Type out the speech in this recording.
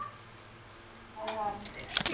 Þú átt fallega konu sagði hann.